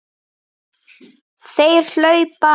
Þeir hlaupa!